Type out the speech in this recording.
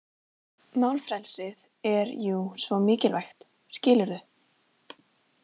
Málfrelsið er jú svo mikilvægt, skilurðu.